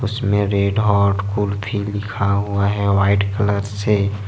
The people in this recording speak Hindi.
इसमें रेडहॉट कुल्फी लिखा हुआ है वाइट कलर से।